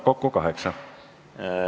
Kokku kaheksa minutit.